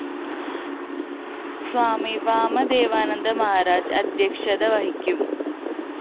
സ്വാമി വാമദേവാനന്ദ മഹാരാജ് അദ്ധ്യക്ഷത വഹിക്കും